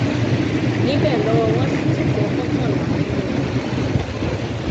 níbẹ lọwọ wọn sì ti tẹ mọkànlá nínú wọn